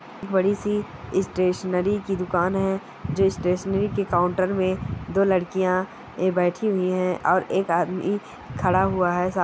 बड़ी-सी स्टेशनरी की दुकान है जिस स्टेशनरी के काउंटर में दो लडकियां ऐ बैठी हुई है और एक आदमी खड़ा हुआ है सा--